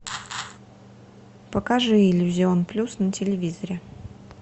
покажи иллюзион плюс на телевизоре